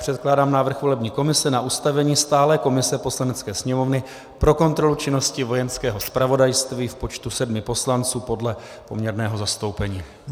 Předkládám návrh volební komise na ustavení stálé komise Poslanecké sněmovny pro kontrolu činnosti Vojenského zpravodajství v počtu sedmi poslanců podle poměrného zastoupení.